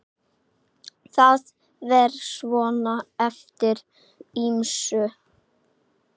Það fer svona eftir ýmsu.